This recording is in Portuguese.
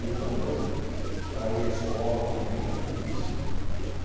E outra coisa, para ir à escola também era difícil, né?